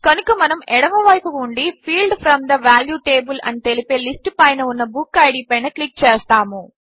కనుక మనము ఎడమ వైపు ఉండి field from the value table అని తెలిపే లిస్ట్ పైన ఉన్న బుక్కిడ్ పైన క్లిక్ చేస్తాము